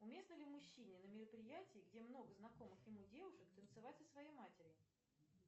уместно ли мужчине на мероприятии где много знакомых ему девушек танцевать со своей матерью